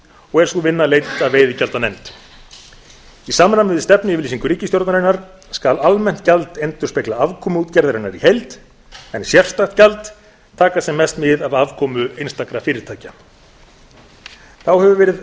og er sú vinna leidd af veiðigjaldsnefnd í samræmi við stefnuyfirlýsingu ríkisstjórnarinnar skal almennt gjald endurspegla afkomu útgerðarinnar í heild en sérstakt gjald taka sem mest mið af afkomu einstakra fyrirtækja þá hefur verið